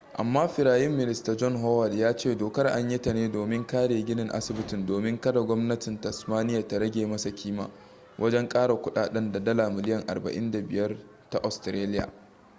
amma firayim minista john howard ya ce dokar an yi ta ne domin kare ginin asibitin domin kada gwamnatin tasmania ta rage masa kima wajen kara kudaden da dala miliyan 45 ta australiya